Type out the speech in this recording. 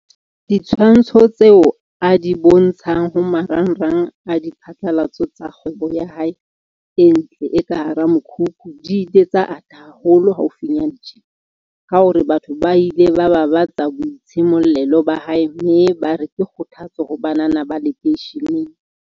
Ditshwantsho tseo a di bontshang ho maranrang a diphatlalatso tsa kgwebo ya hae e ntle e ka hara mokhukhu di ile tsa ata haholo haufinyana tjena, ka hore batho ba ile ba babatsa boitshimollelo ba hae mme bare ke kgothatso ho banana ba lekeisheneng.